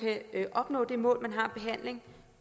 en vurdering